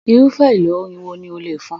Irufẹ elo orin wo ní o le fọn?